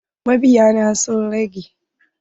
Mabiya na sun rage.